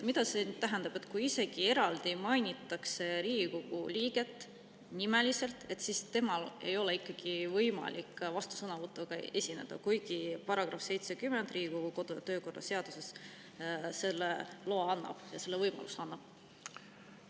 Mida see tähendab, et kui mainitakse Riigikogu liiget isegi nimeliselt, siis tal ei ole ikkagi võimalik vastusõnavõtuga esineda, kuigi § 70 Riigikogu kodu‑ ja töökorra seaduses selle loa, selle võimaluse annab?